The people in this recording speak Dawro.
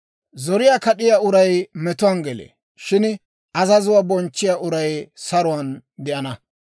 Zoriyaa kad'iyaa uray metuwaan gelee; shin azazuwaa bonchchiyaa uray saruwaan de'ana.